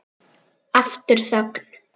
Aftur þögn.